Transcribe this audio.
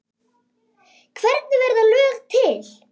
Hvernig verða lög til?